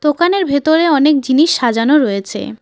দোকানের ভেতরে অনেক জিনিস সাজানো রয়েছে।